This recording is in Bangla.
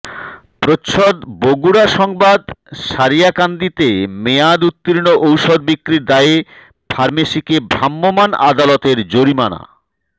প্রচ্ছদ বগুড়া সংবাদ সারিয়াকান্দিতে মেয়াদ উত্তীর্ন ঔষধ বিক্রির দায়ে ফার্মেসীকে ভ্রাম্যমান আদালতের জরিমানা